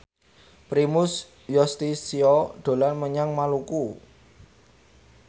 Primus Yustisio dolan menyang Maluku